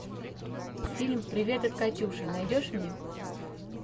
фильм привет от катюши найдешь мне